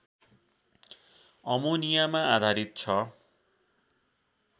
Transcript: अमोनियामा आधारित छ